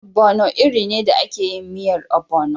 Ogbono iri ne da ake yin miyan ogbono.